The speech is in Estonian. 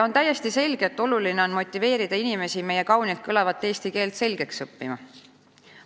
On täiesti selge, et oluline on motiveerida inimesi meie kaunilt kõlavat eesti keelt selgeks õppima.